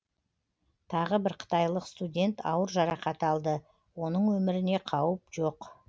тағы бір қытайлық студент ауыр жарақат алды оның өміріне қауіп жоқ